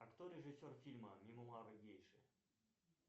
а кто режиссер фильма мемуары гейши